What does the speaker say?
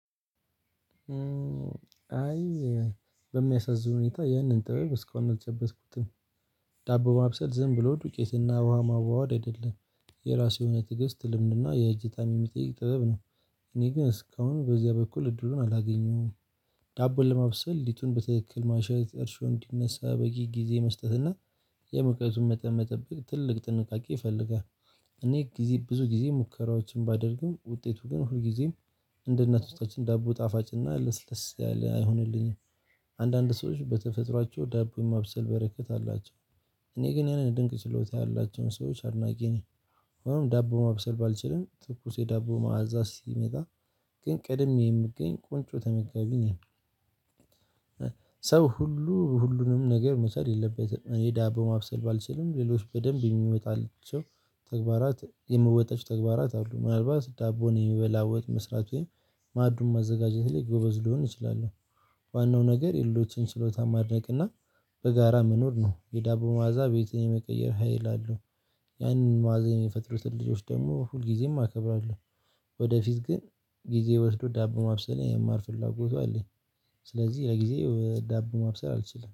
አይ በሚያሳዝን ሁኔታ ይህንን ጥበብ እስካሁን እልጨበጥኩትም። ዳቦ ማብሰል ዝም ብሎ ዱቄትና ውሃ ማዋወድ አይደለም የራሱ የሆነ ትዕግስት ልምድና የእጅ የሚጠይቅ ጥበብ ነው። እኔ ግን እስካሁን በዚያ በኩል እድሉን አላገኘሁም። ዳቦን ለማብሰል ሊቱን በትክክል ማሸሸ እርሾ እንዲነሳ በቂ ጊዜ መስጠትና የመቀየሱን መጠን መጠበቅ ትልቅ ጥንቃቄ ይፈልጋል። እኔ ጊዜ ብዙ ጊዜ ሙከራዎችን ባደርግም ውጤቱ ግን ሁል ጊዜም እንደ እናቶቻችን ዳቦ ጣፋጭና ልስልስ ያለ አይሆንልኝም። አንዳንድ ሰዎች በተፈጥሯቸው ዳቦ የማብሰል በረከት አላቸው። እኔ ግን ያንን ድንቅ ጭሎታ ያላቸውን ሰዎች አድናቂ ነኝ። አሁንም ዳቦ ማብሰል ባልችልም ትኩስ የዳቦ ማዕዛዝ ሲመጣ ግን ቅድመ የምገኝ ቁንጮ ተመጋቢ ነው። ሰው ሁሉ ሁሉንም ነገር መስራት የለበትም የዳቦ በማብሰል ባልችልም ሌሎች በደንብ የሚመጣልን ሰው። ተግባራት የምወጣቸው ተግባራት አሉ ምናልባት ዳቦን የሚበላ ወጥ መስራቱን ማዱን ማዘጋጀት ላይ ጎበዝ ሊሆን ይችላል። ዋናው ነገር የልደችን ሽሎታ ማድነቅ እና በጋራ መኖር ነው የዳቦ ማዕዛ ቤት የመቀየር ሀይል አለው። ያንን ማዕዛ የሚፈጥሩትን ልጆች ደግሞ ሁልጊዜም አከብራለሁ። ወደፊት ግን ጊዜ ወስዶ ዳቦ ማብሰል የማር ፍላጎቱ አለኝ። ስለዚህ ለጊዜ ዳቦ ማብሰል አልችልም